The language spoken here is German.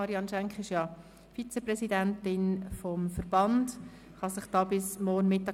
Marianne Schenk ist Vizepräsidentin des Bernisch Kantonalen Fischerei-Verbands (BKFV).